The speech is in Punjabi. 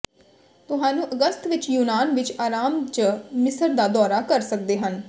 ਤੁਹਾਨੂੰ ਅਗਸਤ ਵਿਚ ਯੂਨਾਨ ਵਿਚ ਆਰਾਮ ਜ ਮਿਸਰ ਦਾ ਦੌਰਾ ਕਰ ਸਕਦੇ ਹਨ